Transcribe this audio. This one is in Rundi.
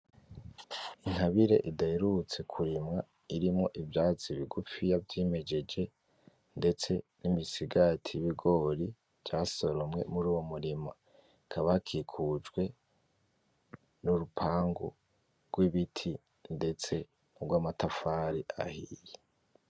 Intabire idaherutse kurimwa irimwo ivyatsi bigufiya vyimejeje, ndetse nimisigati yibigori vyasoromwe muri uwo murima hakaba hakikujwe nurupangu rw'ibiti ndetse nurwanatafari ahiye .